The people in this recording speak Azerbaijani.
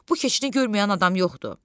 Bu keçini görməyən adam yoxdur.